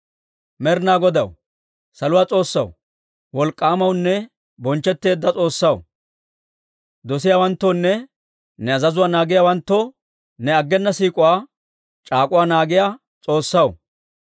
«Med'ina Godaw, saluwaa S'oossaw, Wolk'k'aamawunne Bonchchetteedda S'oossaw, dosiyaawanttoonne ne azazuwaa naagiyaawanttoo ne aggena siik'uwaa c'aak'uwa naagiyaa S'oossaw,